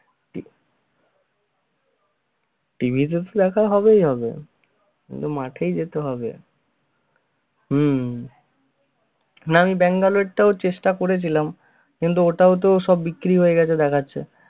TV তে তো দেখা হবেই হবে কিন্তু মাঠে যেতে হবে হম না আমি ব্যাঙ্গালোর টাও চেষ্টা করেছিলাম কিন্তু ওটাও তো সব বিক্রি হয়ে গেছে দেখাচ্ছে!